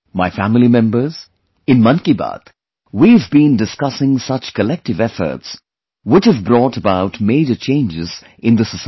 My family members, in 'Mann Ki Baat' we have been discussing such collective efforts which have brought about major changes in the society